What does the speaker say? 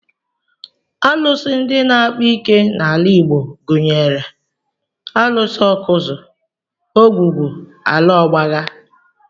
Arụsị ndị na-akpa ike n'ala Igbo gụnyere Arụsị Awkuzu, ogwugwu, ala ọgbaga